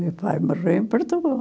Meu pai morreu em Portugal.